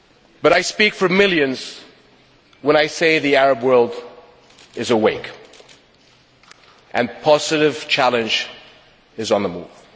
But I speak for millions when I say the Arab world is awake, and positive challenge is on the move.